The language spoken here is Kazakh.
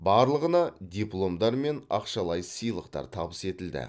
барлығына дипломдар мен ақшалай сыйлықтар табыс етілді